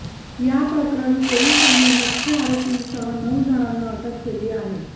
याप्रकरणी पोलिसांनी मुख्य आरोपींसह नऊ जणांना अटक केली आहे